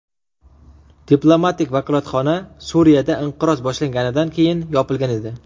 Diplomatik vakolatxona Suriyada inqiroz boshlanganidan keyin yopilgan edi.